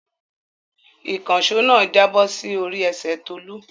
Ìkànṣó náà jábọ̀ sí orí ẹsẹ̀ Tolú.